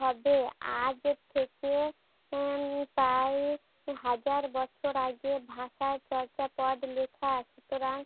হবে আজ থেকে উম প্রায় হাজার বছর আগে ভাষায় চর্যাপদ লিখা, সুতরাং